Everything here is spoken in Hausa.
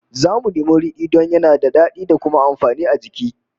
Zamu nemi ridi don yana da dadi da kuma amfani a jiki